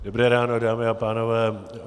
Dobré ráno, dámy a pánové.